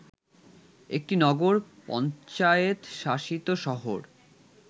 একটি নগর পঞ্চায়েত শাসিত শহর